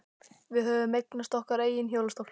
Við höfðum eignast okkar eigin hjólastól.